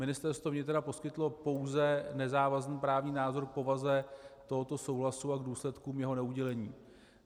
Ministerstvo vnitra poskytlo pouze nezávazný právní názor k povaze tohoto souhlasu a k důsledkům jeho neudělení.